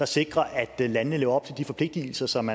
sikrer at landene lever op til de forpligtelser som